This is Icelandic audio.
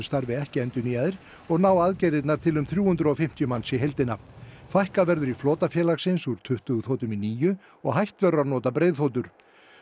starfi ekki endurnýjaðir og ná aðgerðirnar til um þrjú hundruð og fimmtíu manns í heildina fækkað verður í flota félagsins úr tuttugu þotum í níu og hætt verður að nota breiðþotur